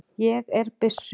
Ég er byssu